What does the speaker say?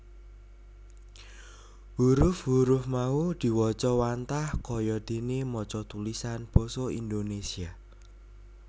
Huruf huruf mau diwaca wantah kaya dene maca tulisan Basa Indonesia